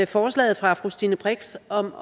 forslaget fra fru stine brix om